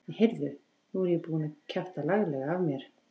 Nei, heyrðu. nú er ég búinn að kjafta laglega af mér!